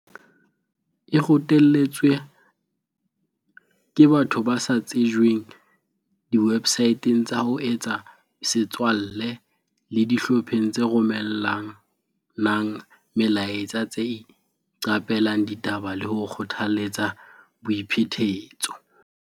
E rotelletswa ke batho ba sa tsejweng diwebsaeteng tsa ho etsa setswalle le dihlopheng tse romella nang melaetsa tse iqape lang ditaba le ho kgothaletsa boiphetetso.